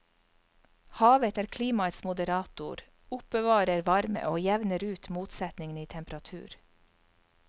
Havet er klimaets moderator, oppbevarer varme og jevner ut motsetningene i temperatur.